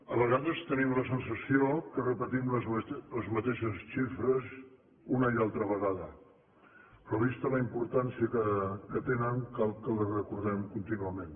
a vegades tenim la sensació que repetim les mateixes xifres una i altra vegada però vista la importància que tenen cal que les recordem contínuament